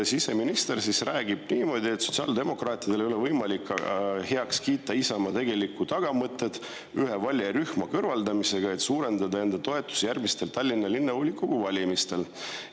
Siseminister räägibki niimoodi, et sotsiaaldemokraatidel ei ole võimalik heaks kiita Isamaa tegelikku tagamõtet ühe valijarühma kõrvaldamisega, et suurendada enda toetust järgmistel Tallinna Linnavolikogu valimistel.